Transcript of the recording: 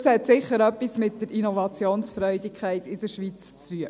Das hat sicher etwas mit der Innovationsfreudigkeit in der Schweiz zu tun.